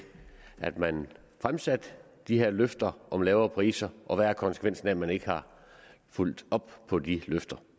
at man fremsatte de her løfter om lavere priser og hvad konsekvensen af at man ikke har fulgt op på de løfter